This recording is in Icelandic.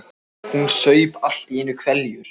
Hún saup allt í einu hveljur.